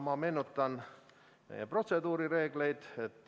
Ma tuletan teile meelde protseduurireegleid.